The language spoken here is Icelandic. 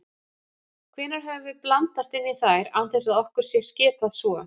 Hvenær höfum við blandast inn í þær án þess að okkur sé skipað svo?